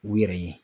U yɛrɛ ye